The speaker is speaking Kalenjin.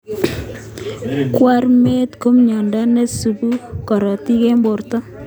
Kwarimet ko mnyondo neisubi korotik eng borto